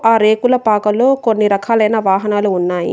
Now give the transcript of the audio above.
ఆ రేకుల పాకలో కొన్ని రకాలైన వాహనాలు ఉన్నాయి.